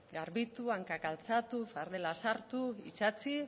garbitu hankak altxatu fardela sartu itsatsi